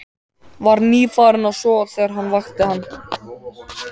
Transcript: Var nýfarinn að sofa þegar hann vakti hann.